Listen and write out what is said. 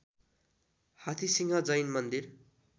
हाथीसिंह जैन मन्दिर